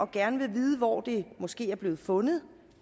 gerne vil vide hvor det måske er blevet fundet